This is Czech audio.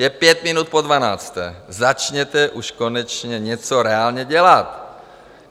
Je pět minut po dvanácté, začněte už konečně něco reálně dělat!